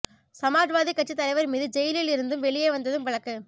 சமாஜ்வாதி கட்சி தலைவர் மீது ஜெயிலில் இருந்து வெளியே வந்ததும் வழக்கு